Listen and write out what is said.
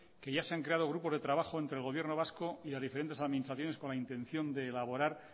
que ya se han creado grupos de trabajo entre el gobierno vasco y las diferentes administraciones con la intención de elaborar